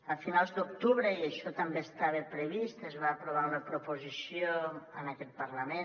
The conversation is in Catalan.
a finals d’octubre i això també estava previst es va aprovar una proposició en aquest parlament